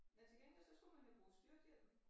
Men til gengæld så skulle man jo bruge styrthjelm